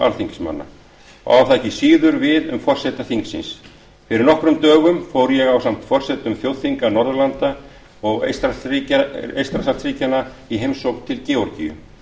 alþingismanna og á það ekki síður við um forseta þingsins fyrir nokkrum dögum fór ég ásamt öðrum forsetum þjóðþinga norðurlanda og eystrasaltsríkjanna í heimsókn til georgíu